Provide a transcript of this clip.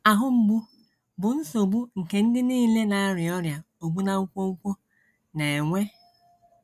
Ahụ mgbu bụ nsogbu nke ndị nile na - arịa ọrịa ogbu na nkwonkwo na - enwe.